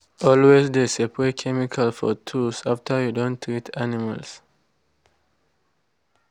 always de spray chemical for tools after you don treat animals.